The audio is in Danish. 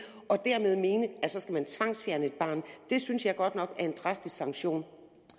og dermed mene at man så skal tvangsfjerne et barn det synes jeg godt nok er en drastisk sanktion